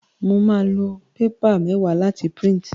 Mo máa lo paper méwáà láti print